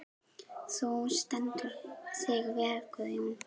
Þú stendur þig vel, Guðjón!